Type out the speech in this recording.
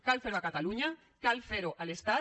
cal fer ho a catalunya cal fer ho a l’estat